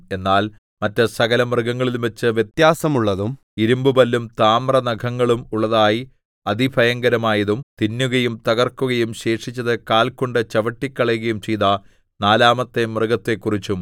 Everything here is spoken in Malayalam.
എന്നാൽ മറ്റ് സകലമൃഗങ്ങളിലുംവച്ച് വ്യത്യാസമുള്ളതും ഇരിമ്പുപല്ലും താമ്രനഖങ്ങളും ഉള്ളതായി അതിഭയങ്കരമായതും തിന്നുകയും തകർക്കുകയും ശേഷിച്ചത് കാൽ കൊണ്ട് ചവിട്ടിക്കളയുകയും ചെയ്ത നാലാമത്തെ മൃഗത്തെക്കുറിച്ചും